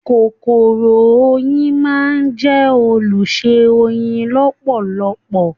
Kòkòrò oyin máa jẹ olùṣe oyin lọpọlọpọ.